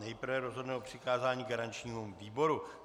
Nejprve rozhodneme o přikázání garančnímu výboru.